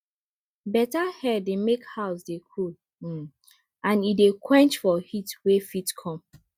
better air dey make house dey cool um and e dey quench for heat wey fit come